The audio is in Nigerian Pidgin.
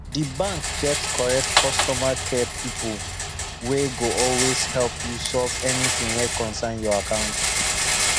the bank get correct customer care people wey go always help you solve anything wey concern your account